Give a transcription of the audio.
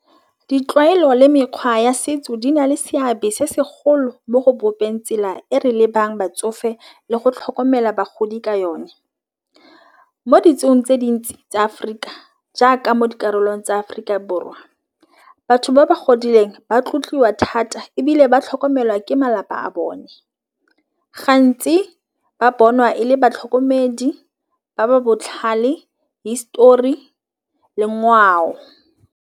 Ditlwaelo le mekgwa ya setso di na le seabe se segolo mo go bopeng tsela e re lebang batsofe le go tlhokomela bagodi ka yone. Mo ditsong tse dintsi tsa Aforika jaaka mo dikarolong tsa Aforika Borwa batho ba ba godileng ba tlotliwa thata ebile ba tlhokomelwa ke malapa a bone gantsi ba bonwa e le batlhokomedi ba ba botlhale histori le ngwao.